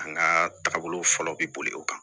An ka taabolo fɔlɔ bi boli o kan